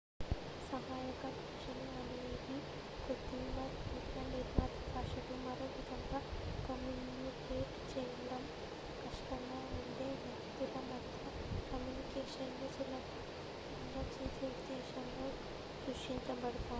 సహాయక భాషలు అనేవి కృత్రిమ లేదా నిర్మిత భాషలు మరోవిధంగా కమ్యూనికేట్ చేయడం కష్టంగా ఉండే వ్యక్తుల మధ్య కమ్యూనికేషన్ ని సులభతరం చేసే ఉద్దేశంతో సృష్టించబడతాయి